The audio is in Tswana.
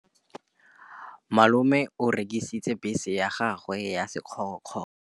Malome o rekisitse bese ya gagwe ya sekgorokgoro.